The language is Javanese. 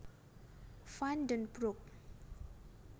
Van den Broek